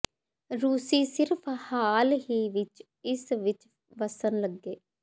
ਰੂਸੀ ਸਿਰਫ ਹਾਲ ਹੀ ਵਿਚ ਇਸ ਵਿਚ ਵਸਣ ਲੱਗੇ